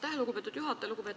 Aitäh, lugupeetud juhataja!